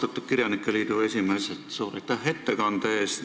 Austatud kirjanike liidu esimees, suur aitäh ettekande eest!